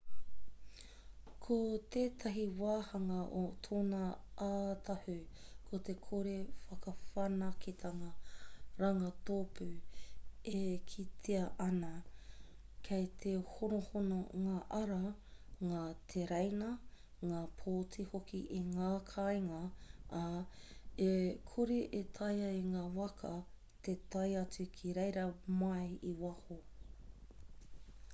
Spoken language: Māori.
ko tētahi wāhanga o tōna ātahu ko te kore whakawhanaketanga rangatōpū e kitea ana kei te honohono ngā ara ngā tereina ngā pōti hoki i ngā kāinga ā e kore e taea e ngā waka te tae atu ki reira mai i waho